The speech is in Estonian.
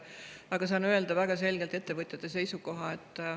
Aga saan väga selgelt öelda ettevõtjate seisukoha.